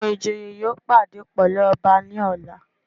Àwọn ìjòyè yóò pàdé pẹ̀lú ọba ní ọ̀la.